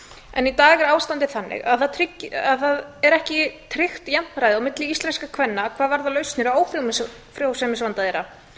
en í dag er ástandið þannig að það er ekki tryggt jafnræði milli íslenskra kvenna hvað varðar lausnir á ófrjósemisvanda þeirra